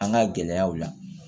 An ka gɛlɛyaw la